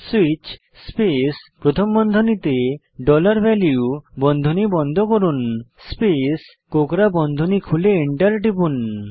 switch space প্রথম বন্ধনীতে dollar value বন্ধনী বন্ধ করুন স্পেস কোকড়া বন্ধনীতে খুলে এন্টার টিপুন